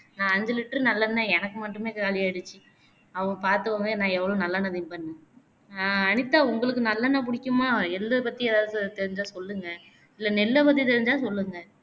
நா ஐந்து liter நல்லெண்ணை எனக்கு மட்டுமே காளியாகிடுச்சு அப்போ பாத்துக்கோங்க நா எவ்வளோ நல்லெண்ணை திம்பேன்னு அஹ் அனிதா உங்களுக்கு நல்லெண்ணை பிடிக்குமா எள்ளு பத்தி எதாவது து தெரிஞ்சா சொல்லுங்க இல்ல நெல்ல பத்தி தெரிஞ்சா சொல்லுங்க